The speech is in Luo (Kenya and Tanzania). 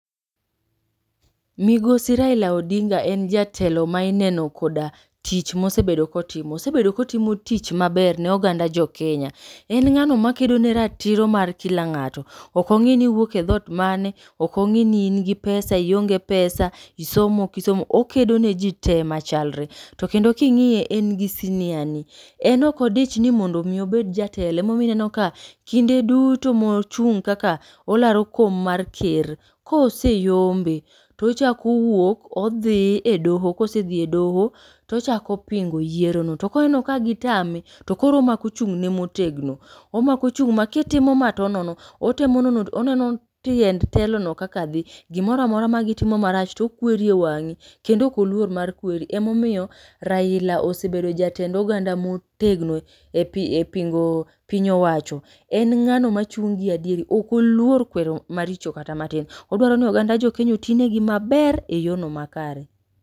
Migosi Raila Odinga en jatelo ma ineno koda tich ma osebedo kotimo. Osebedo kotimo tich maber ne oganda jo Kenya, en ng'ano ma kedo ne ratiro mar kila ng'ato. Okong'e ni iwuoke dhot mane, oko ng'e ni in gi pesa, ionge pesa, isomo okisomo. Okedo ne ji te machalre, to kendo king'iye en gi siniani. En okodich ni mondo mi obed jatelo, emomiyo ineno ka kinde duto mochung' kaka olaro kom mar ker. Kose yombe, tochako wuok odhi e doho, kosedhi e doho tochako pingo yierono. To koneno ka gitame, to koro omako chung'ne motegno. Omako chung' ma kitimo ma tonono, otemo nono oneno tiend telo no kaka dhi. Gimoramora ma gitimo marach tokweri e wang'i, kendo okoluor mar kweri. Emomiyo Raila osebedo jatend oganda motegno e pingo piny owacho. En ng'ano ma chung' gi adieri, okoluor kwero maricho kata matin. Odwaro ni oganda jo Kenya otine gi maber e yono ma kare.